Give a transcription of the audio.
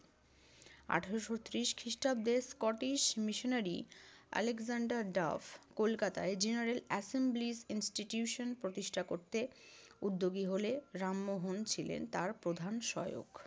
আঠারশো ত্রিশ খ্রিষ্টাব্দে স্কটিশ মিশনারী আলেকজান্ডার দাফ কলকাতায় জেনারেল এসেম্বলি ইনস্টিটিউশন প্রতিষ্ঠা করতে উদ্যোগী হলে রামমোহন ছিলেন তার প্রধান সহায়ক।